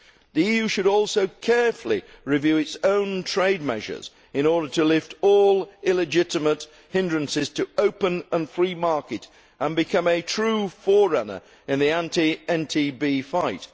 The EU should also carefully review its own trade measures in order to lift all illegitimate hindrances to open and free markets and become a true forerunner in the anti NTB fight.